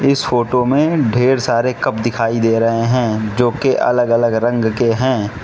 इस फोटो में ढेर सारे कप दिखाई दे रहे हैं जो कि अलग अलग रंग के हैं।